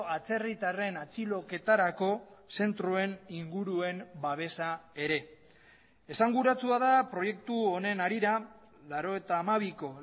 atzerritarren atxiloketarako zentroen inguruen babesa ere esanguratsua da proiektu honen harira laurogeita hamabiko